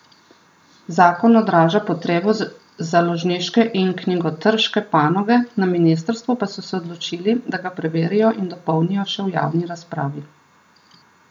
Zakon odraža potrebo založniške in knjigotrške panoge, na ministrstvu pa se se odločili, da ga preverijo in dopolnijo še v javni razpravi.